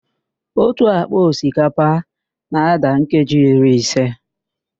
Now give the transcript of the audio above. Otu ákpá osikapa na-ádà keeji iri ise